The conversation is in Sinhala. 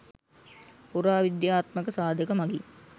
පුරාවිද්‍යාත්මක සාධක මඟින්